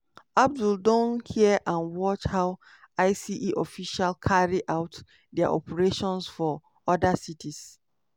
abdul don hear and watch how ice officials carry out dia operations for oda cities.